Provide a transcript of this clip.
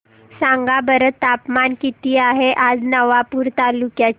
सांगा बरं तापमान किता आहे आज नवापूर तालुक्याचे